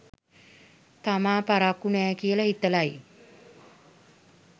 තාම පරක්කු නෑ කියල හිතලයි